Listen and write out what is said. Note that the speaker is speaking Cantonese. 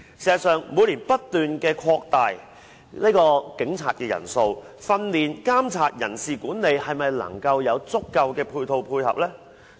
事實上，每年不斷擴大警察的人數，但在訓練、監察、人事管理上是否能夠有足夠的配套配合呢？